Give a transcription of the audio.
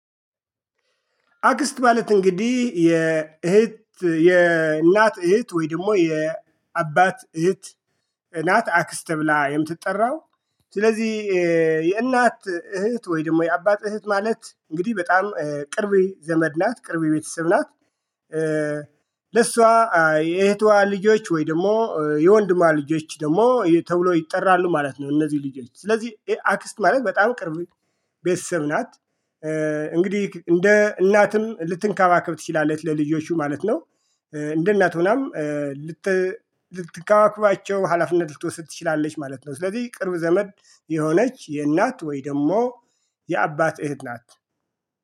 አክስት ማለት እንግዲህ የእህት የእናት እህት ወይ ደግሞ የአባት እህት ናት አክስት ተብላ የምትጠራው። ስለዚህ የእናት እህት ወይ ደግሞ የአባት እህት ማለት እንግዲህ በጣም ቅርቤ ዘመድ ናት ቅርቤ ቤተሰብ ናት። ለሷ የእህቷ ልጆች ወይ ደግሞ የወንድማ ልጆች ደግሞ ተብሎ ይጠራሉ ማለት ነው። እነዚህ ልጆች ስለዚህ አክስት ማለት በጣም ቅርብ ቤተሰብ ናት። እንግዲህ እንደ እናትም ልትንከባከብ ትችላለች ለልጆቹ ማለት ነው። እንደ እናት ሆናም ልት ልትንከባከቸው ሀላፊነት ልትወሰድ ትችላለች ማለት ነው። ስለዚህ ቅርብ ዘመድ የሆነች የእናት ወይ ደግሞ የአባት እህት ናት